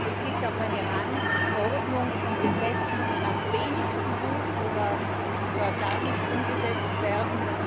Es gibt auch eine Rangordnung von Gesetzen, die am wenigsten gut oder gar nicht umgesetzt werden.